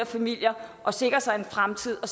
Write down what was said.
familier at sikre sig en fremtid og